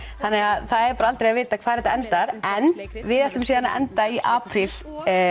þannig að það er aldrei að vita hvar þetta endar en við ætlum síðan að enda í apríl